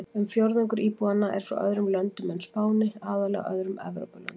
Um fjórðungur íbúanna eru frá öðrum löndum en Spáni, aðallega öðrum Evrópulöndum.